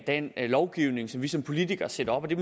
den lovgivning som vi som politikere sætter op det